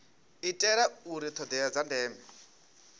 itela uri thodea dza ndeme